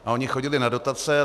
A oni chodili na dotace.